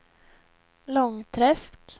Långträsk